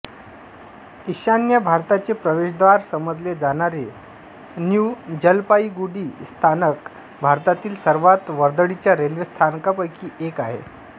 ईशान्य भारताचे प्रवेश्द्वार समजले जाणारे न्यू जलपाईगुडी स्थानक भारतातील सर्वात वर्दळीच्या रेल्वे स्थानकांपैकी एक आहे